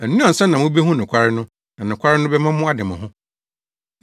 Ɛno ansa na mubehu nokware no na nokware no bɛma moade mo ho.”